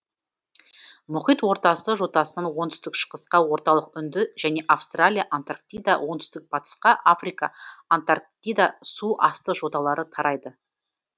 мұхит ортасы жотасынан оңтүстік шығысқа орталық үнді және австралия антарктида оңтүстік батысқа африка антарктида су асты жоталары тарайды